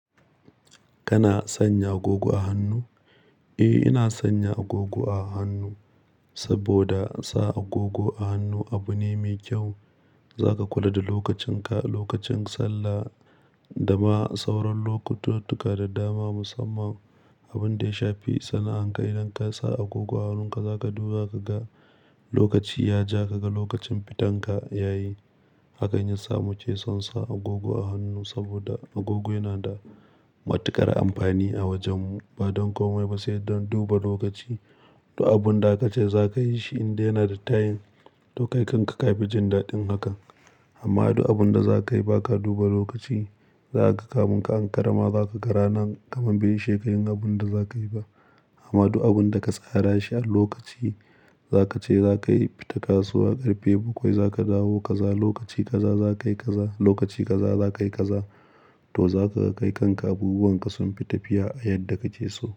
Kana sanya agogo a hannu? Eh, ina sanya agogo a hannu saboda sa agogo a hannu abu ne mai kyau. Za ka kula da lokacin ka, lokacin sallah da ma sauran lokututtuka da dama musamman abin da ya shafi sana'anka. Idan ka sa agogo a hannunka, za ka duba ka ga lokaci ya ja, ka ga lokacin fitanka ya yi. Ha kan yasa muke son sa agogo a hannu saboda agogo yana da matuƙar amfani a wajen mu. Ba don komai ba sai don duba lokaci. Duk abun da aka ce za ka yi shi in dai yana da tayim, to kai kanka ka fi jin daɗin hakan. Amma duk abun da za ka yi ba ka duba lokaci, za ka kamun ka an karama. Za ka ga ranan kamar bai isheka yin abun da za ka yi ba. Amma du abun da ka tsara shi a lokaci, za ka ce za ka fita kasuwa ƙarfe bakwai, za ka dawo kaza lokaci kaza, za ka yi kaza lokaci kaza, za ka yi kaza. To za ka ga kai kanka abubuwan ka sun fita fiye a yadda kake so.